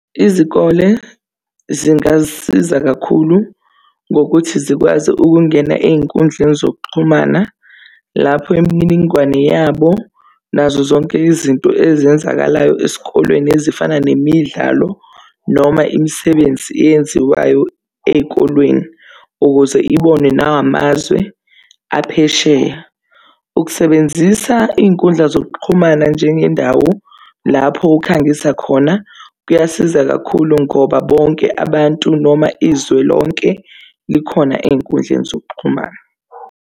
Izikole zingasiza kakhulu ngokuthi zikwazi ukungena ey'nkundleni zokuxhumana, lapho imininingwane yabo nazo zonke izinto ezenzakalayo esikolweni, ezifana nemidlalo noma imisebenzi eyenziwayo ezikolweni ukuze ibonwe nawo amazwe aphesheya. Ukusebenzisa iy'nkundla zokuxhumana njengendawo lapho ukhangisa khona kuyasiza kakhulu ngoba bonke abantu noma izwe lonke likhona ey'nkundleni zokuxhumana.